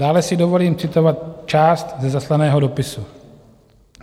Dále si dovolím citovat část ze zaslaného dopisu.